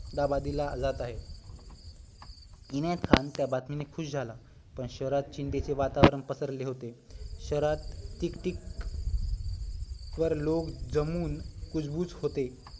अहमदाबादेला जात आहे इनायत खान त्या बातमीने खुश झाला पण शहरात चिंतेचे वातावरण पसरले होते शहरात ठीक ठिक वर लोक जमून कुजबूज होते